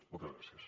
moltes gràcies